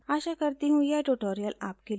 आशा करती हूँ यह ट्यूटोरियल आपके लिए उपयोगी था